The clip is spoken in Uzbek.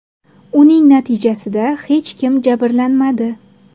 Uning natijasida hech kim jabrlanmadi.